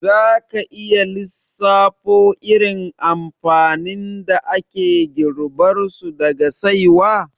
Za ka iya lissafo irin amfanin da ake girbarsu daga saiwa?